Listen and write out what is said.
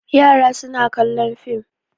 Yara suna kallon fim.